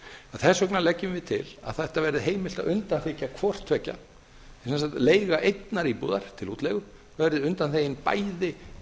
þess vegna leggjum við til að þetta verði heimilt að undanþiggja hvort tveggja sem sagt að leiga einnar íbúðar til útleigu verði undanþegin bæði